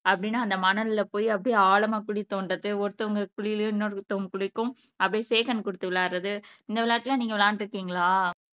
அப்படின்னு அந்த மணல்ல போயி அப்படியே ஆழமா குழி தோண்டுறது ஒருத்தவங்க குழியிலயும் இன்னொருத்தவங்க குழிக்கும் அப்படியே ஷே ஹாண்ட் கொடுத்து விளையாடுறது இந்த விளையாட்டு எல்லாம் நீங்க விளையாண்டு இருக்கீங்களா